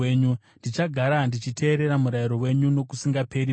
Ndichagara ndichiteerera murayiro wenyu, nokusingaperi-peri.